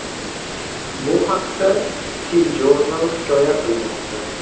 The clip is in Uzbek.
Bu haqda TJournal hikoya qilmoqda .